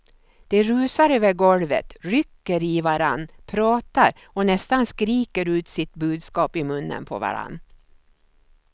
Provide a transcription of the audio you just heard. De rusar över golvet, rycker i varandra, pratar och nästan skriker ut sitt budskap i munnen på varandra.